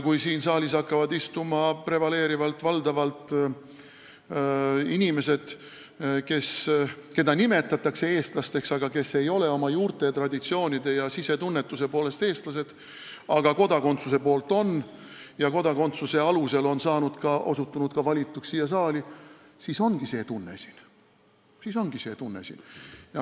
Kui siin saalis hakkavad istuma prevaleerivalt, valdavalt inimesed, keda nimetatakse eestlasteks, aga kes ei ole oma juurte, traditsioonide ega sisetunnetuse poolest eestlased, kuid kodakondsuse poolest on seda ning kes on osutunud kodakondsuse alusel ka siia valituks, siis ongi siin see tunne.